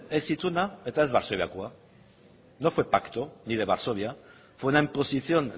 ez ituna eta ez varsoviakoa no fue pacto ni de varsovia fue una imposición